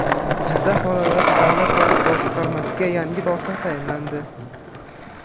Jizzax viloyat davlat soliq boshqarmasiga yangi boshliq tayinlandi.